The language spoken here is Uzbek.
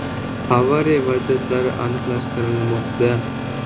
Avariya vaziyatlari aniqlashtirilmoqda.